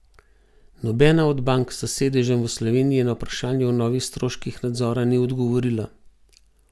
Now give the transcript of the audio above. Nobena od bank s sedežem v Sloveniji na vprašanje o novih stroških nadzora ni odgovorila.